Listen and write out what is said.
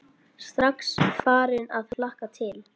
Strax farin að hlakka til.